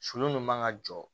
Sulu nin man ka jɔ